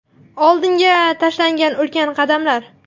Oldinga tashlangan ulkan qadamlar.